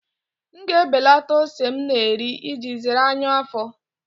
M ga-ebelata ose m na-eri iji zere ọnyá afọ.